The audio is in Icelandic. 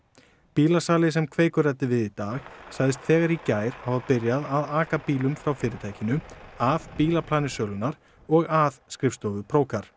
bílasali sem Kveikur ræddi við í dag sagðist þegar í gær hafa byrjað að aka bílum frá fyrirtækinu af bílaplani sölunnar og að skrifstofu